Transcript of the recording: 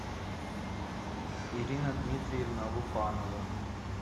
ирина дмитриевна лупанова